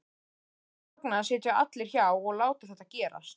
En hvers vegna sitja allir hjá og láta þetta gerast?